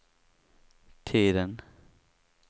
tiden